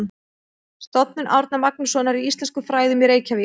Stofnun Árna Magnússonar í íslenskum fræðum í Reykjavík.